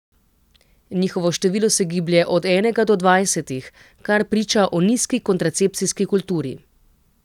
Njihovo število se giblje od enega do dvajsetih, kar priča o nizki kontracepcijski kulturi.